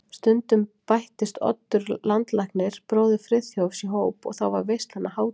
Stundum bættist Oddur landlæknir, bróðir Friðþjófs, í hóp og þá varð veislan að hátíð.